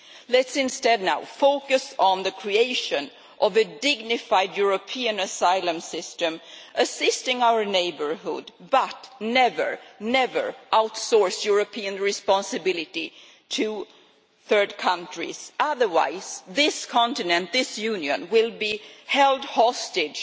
Let us instead now focus on the creation of a dignified European asylum system assisting our neighbourhood but never, never, outsource European responsibility to third countries, otherwise this continent, this Union, will be held hostage